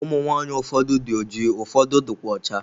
Ụmụ nwaanyị ụfọdụ dị oji ụfọdụ dịkwa ọcha.